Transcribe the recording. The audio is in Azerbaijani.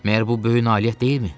Məgər bu böyük nailiyyət deyilmi?